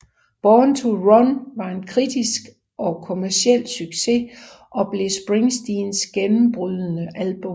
Born to Run var en kritisk og kommerciel succes og blev Springsteens gennembrydende album